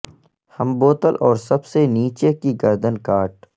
ہم بوتل اور سب سے نیچے کی گردن کاٹ